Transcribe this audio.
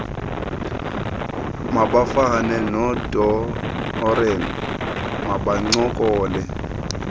mabafane nodoreen mabancokole